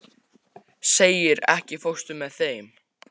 Siggeir, ekki fórstu með þeim?